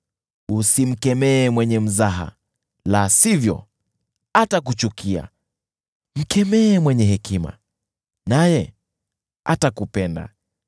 Usimkemee mwenye mzaha la sivyo atakuchukia; mkemee mwenye hekima naye atakupenda.